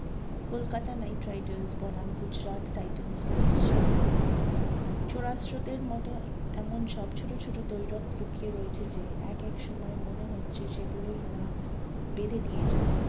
কলকাতা নাইট রাইডার্স বনাম গুজরাট টাইটান্স ম্যাচ চড়া স্রোতের মতো এমন সব ছোট ছোট দৈরত লুকিয়ে রয়েছে যে এক এক সময় মনে হচ্ছে সেগুলোই না বেঁধে দিয়ে যায়।